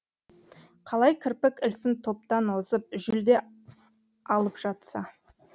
қалай кірпік ілсін топтан озып жүлде алып жатса